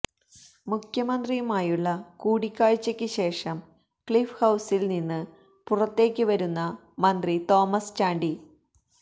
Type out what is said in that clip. മുഖ്യമന്ത്രിയുമായുള്ള കൂടിക്കാഴ്ചയ്ക്ക് ശേഷം ക്ലിഫ് ഹൌസില് നിന്ന് പുറത്തേക്ക് വരുന്ന മന്ത്രി തോമസ് ചാണ്ടി